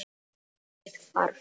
Brosið hvarf.